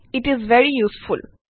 it is very useful